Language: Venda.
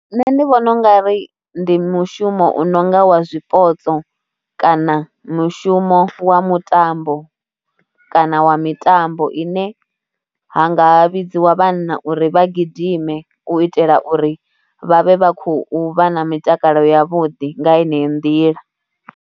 Nṋe ndi vhona u nga ri ndi mushumo u no nga wa zwipotso kana mushumo wa mutambo kana wa mitambo ine ha nga vhidziwa vhanna uri vha gidime u itela uri vha vhe vha khou vha na mitakalo yavhuḓi nga yenei nḓila.